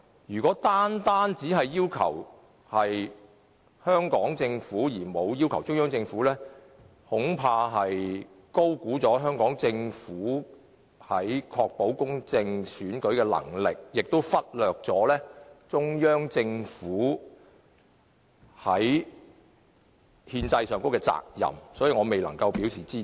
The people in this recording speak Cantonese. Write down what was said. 如果單單只要求香港政府，而沒有要求中央政府，恐怕是高估了香港政府確保公正選舉的能力，亦忽略了中央政府在憲制上的責任，故此我未能支持。